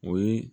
O ye